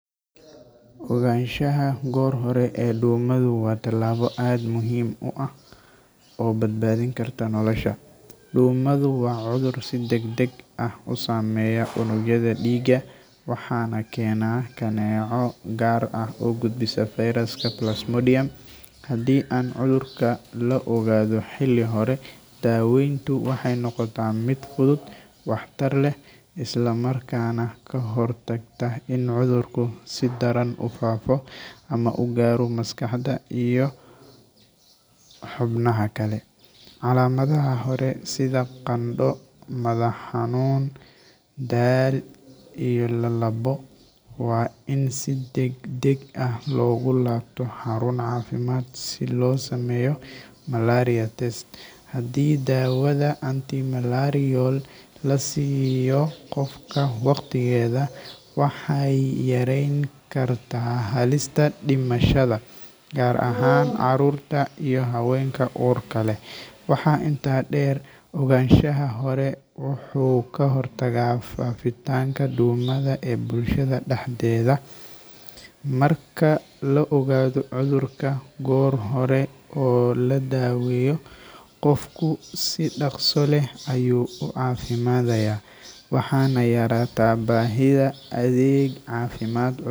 Ogaansha gor hore ee dumahu wa tilabo aad muxiim u ah oo badbadini karta nolosha, dumadu wa cudur si dagdag ah usameya unugyada digaa waxana kena kaneco gaar ah oo gudbisa virus plasmodium hadhi an cudurka laogado hili hore dawentu waxay nogota mid fudud wahtar leh islamarkana kahortagta in cudurku si daraan ufaafo ama si daraan ugaro maskaxda iyo hubnaha kale, calamadaha hore sidha qando madax hanun daal iyo lalabo wa in si daagdag ah logulabto harun cafimad si losameyo test hadi dawada anti malarial lasiyo gofka wagtigeda waxay yarenkarta halista dimashada gaar ahan carurta iyo hawenka urka leh, waxa inta deer oganshaha hore wuxu kahortaga fafitanka duunada ee bulshada daxdeda, marka laogado cudurka gor hore oo ladaweyo gofku si dagso leh ayu facimadaya waxan yarataa bahida adeg cafimad.